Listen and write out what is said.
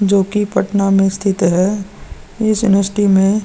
जो की पटना में स्थित है इस में --